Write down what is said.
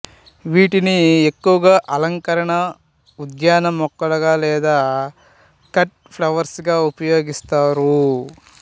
వీటిని ఎక్కువగా అలంకరణ ఉద్యాన మొక్కలుగా లేదా కట్ ఫ్లవర్స్ గా ఉపయోగిస్తారు